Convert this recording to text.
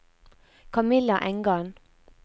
Camilla Engan